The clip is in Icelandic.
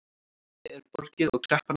Íslandi er borgið og kreppan afstaðin